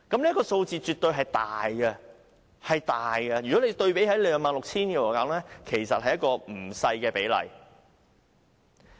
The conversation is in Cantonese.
這個數字絕對是大的，相對於總數 26,000 支，是一個不小的比例。